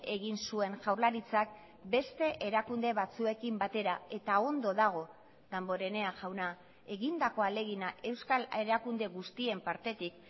egin zuen jaurlaritzak beste erakunde batzuekin batera eta ondo dago danborenea jauna egindako ahalegina euskal erakunde guztien partetik